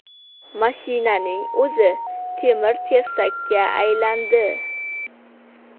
Mashinaning o‘zi temir-tersakka aylandi .